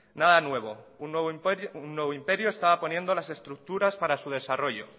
nada nuevo un nuevo imperio estaba poniendo las estructuras para su desarrollo